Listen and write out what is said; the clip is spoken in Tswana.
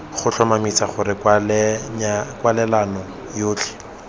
go tlhomamisa gore kwalelano yotlhe